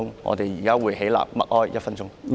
我們現在會起立默哀1分鐘。